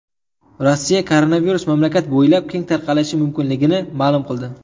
Rossiya koronavirus mamlakat bo‘ylab keng tarqalishi mumkinligini ma’lum qildi.